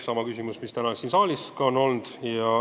Sama küsimus oli ka täna siin saalis.